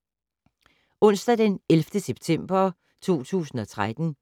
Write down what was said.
Onsdag d. 11. september 2013